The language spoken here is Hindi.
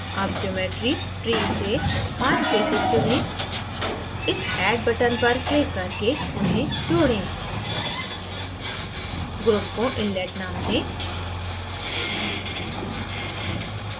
add geometry tree से पाँच faces चुनें इस addबटन पर क्लिक करके उन्हें जोडें group को inlet name दें